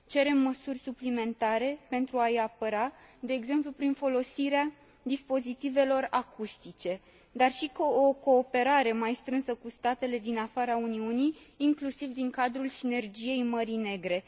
Cerem măsuri suplimentare pentru a i apăra, de exemplu prin folosirea dispozitivelor acustice, dar și o cooperare mai strânsă cu statele din afara Uniunii, inclusiv din cadrul sinergiei Mării Negre.